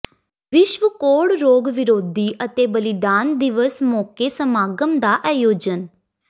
ਵਿਸ਼ਵ ਕੋਹੜ ਰੋਗ ਵਿਰੋਧੀ ਅਤੇ ਬਲਿਦਾਨ ਦਿਵਸ ਮੌਕੇ ਸਮਾਗਮ ਦਾ ਆਯੋਜਨ